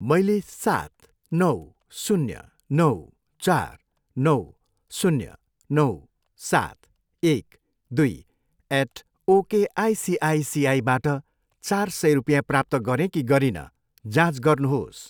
मैले सात, नौ, शून्य, नौ, चार, नौ, शून्य, नौ, सात, एक, दुई एट ओकआइसिआइसीबाट चार सय रुपिँया प्राप्त गरेँ कि गरिनँ, जाँच गर्नुहोस्।